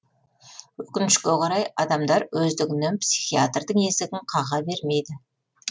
өкінішке қарай адамдар өздігінен психиатрдың есігін қаға бермейді